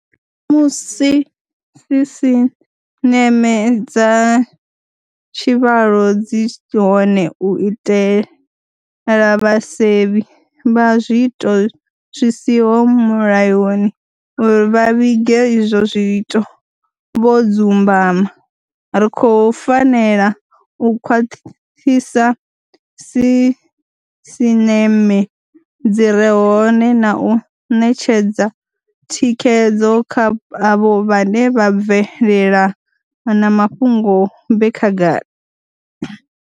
Musi sisineme dza tshivhalo dzi hone u itela vhasevhi vha zwiito zwi siho mulayoni uri vha vhige izwo zwiito vho dzumbama, ri khou fanela u khwaṱhisa sisineme dzi re hone na u netshedza thikhedzo kha avho vhane vha bvelela na mafhungo vhe khagala.